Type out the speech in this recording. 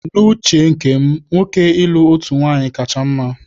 N'uche nke m, nwoke ịlụ otu nwaanyị kacha mma